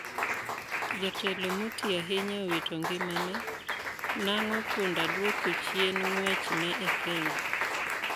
Jatelo motii ahinya owito ngimane, nang'o punda dwoko chien ng'wech ne e kenya?